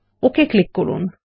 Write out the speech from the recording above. okay click করুন